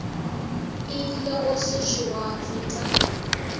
ile go sešo gwa feta